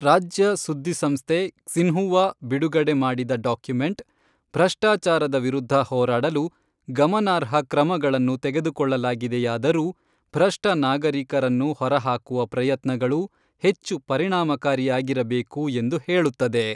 ರಾಜ್ಯ ಸುದ್ದಿ ಸಂಸ್ಥೆ ಕ್ಸಿನ್ಹುವಾ ಬಿಡುಗಡೆ ಮಾಡಿದ ಡಾಕ್ಯುಮೆಂಟ್, ಭ್ರಷ್ಟಾಚಾರದ ವಿರುದ್ಧ ಹೋರಾಡಲು "ಗಮನಾರ್ಹ" ಕ್ರಮಗಳನ್ನು ತೆಗೆದುಕೊಳ್ಳಲಾಗಿದೆಯಾದರೂ, ಭ್ರಷ್ಟ ನಾಗರಿಕರನ್ನು ಹೊರಹಾಕುವ ಪ್ರಯತ್ನಗಳು ಹೆಚ್ಚು ಪರಿಣಾಮಕಾರಿಯಾಗಿರಬೇಕು ಎಂದು ಹೇಳುತ್ತದೆ.